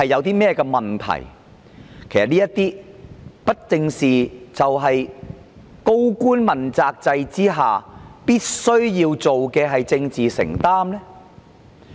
這些不正是高官問責制下必須要做的政治承擔嗎？